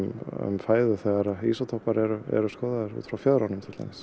fæðu þegar ísótópar eru skoðaðir út frá fjöðrunum til dæmis